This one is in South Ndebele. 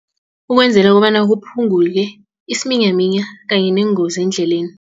Ukwenzela kobana kuphunguke isiminyaminya kanye neengozi eendleleni.